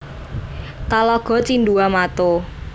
Talago Cindua Mato